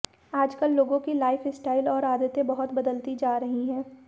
आजकल लोगों की लाइफ स्टाइल और आदतें बहुत बदलती जा रही है